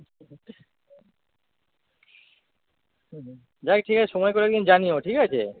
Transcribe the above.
হম হম যাই ঠিক সময় পেলে একদিন জানিও ঠিক আছে?